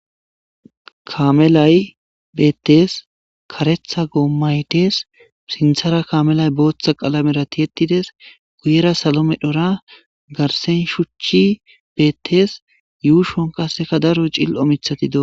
kamelay beettes karetha goomaytes sinthara kamelay booththa qalamera ti ettides guyera salo medhora garsen shuchchi beettes yuushon qasseka daro cill omithati do